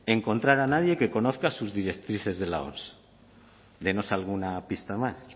encontrar a nadie que conozca sus directrices de la oms denos alguna pista más